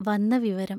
വന്ന വിവരം.